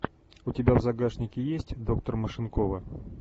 у тебя в загашнике есть доктор машинкова